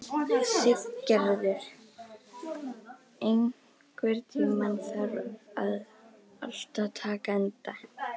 Siggerður, einhvern tímann þarf allt að taka enda.